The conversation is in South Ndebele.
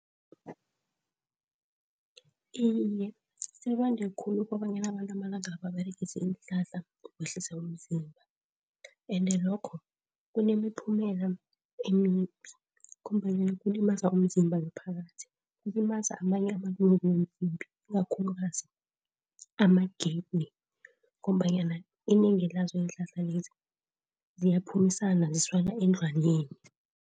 Iye, sebande khulu kobanyana abantu amalanga la baberegisa iinhlahla zokwehlisa umzimba, ende lokho kunemiphumela emimbi ngombanyana kulimaza umzimba ngaphakathi. Kulimaza amanye amalungu womzimba ikakhulukazi ama-kidney ngombanyana inengi lazo iinhlahla lezi ziyaphumisana zisana eendlwaneni.